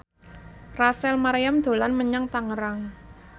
Rachel Maryam dolan menyang Tangerang